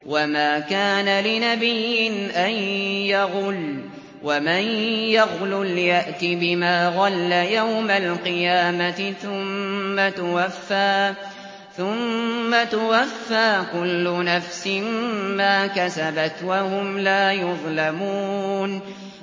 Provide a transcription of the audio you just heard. وَمَا كَانَ لِنَبِيٍّ أَن يَغُلَّ ۚ وَمَن يَغْلُلْ يَأْتِ بِمَا غَلَّ يَوْمَ الْقِيَامَةِ ۚ ثُمَّ تُوَفَّىٰ كُلُّ نَفْسٍ مَّا كَسَبَتْ وَهُمْ لَا يُظْلَمُونَ